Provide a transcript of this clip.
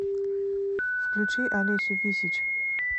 включи алесю висич